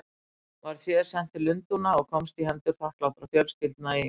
Var féð sent til Lundúna og komst í hendur þakklátra fjölskyldna í